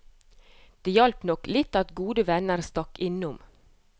Det hjalp nok litt at gode venner stakk innom.